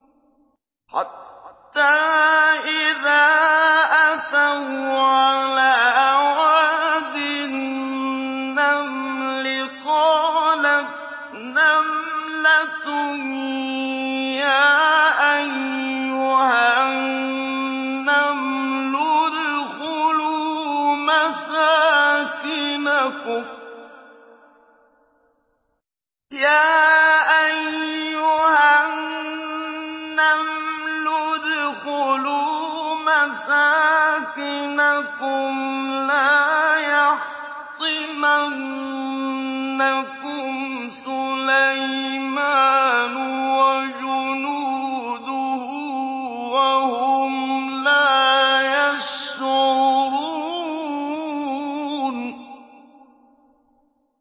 حَتَّىٰ إِذَا أَتَوْا عَلَىٰ وَادِ النَّمْلِ قَالَتْ نَمْلَةٌ يَا أَيُّهَا النَّمْلُ ادْخُلُوا مَسَاكِنَكُمْ لَا يَحْطِمَنَّكُمْ سُلَيْمَانُ وَجُنُودُهُ وَهُمْ لَا يَشْعُرُونَ